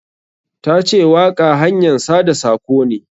Ta ce waƙa hanyan sada sako ne.